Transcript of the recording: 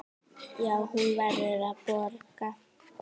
Já, hún verður að borga.